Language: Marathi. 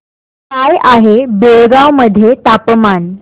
काय आहे बेळगाव मध्ये तापमान